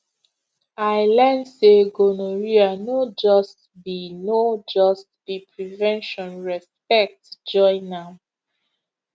i learn say gonorrhea no just be no just be prevention respect join am